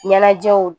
Ɲɛnajɛw